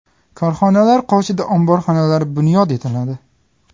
Korxonalar qoshida omborxonalar bunyod etiladi.